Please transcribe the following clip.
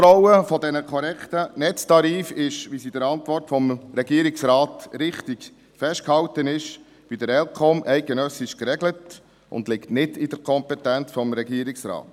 Die Kontrolle der korrekten Netztarife ist, wie es in der Antwort des Regierungsrates richtig festgehalten ist, bei der ElCom eidgenössisch geregelt und liegt nicht in der Kompetenz des Regierungsrates.